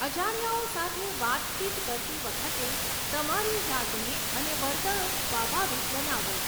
અજાણ્યાઓ સાથે વાતચીત કરતી વખતે તમારી જાતને અને વર્તણૂક સ્વાભાવિક બનાવો.